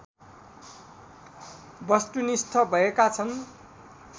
वस्तुनिष्ठ भएका छन्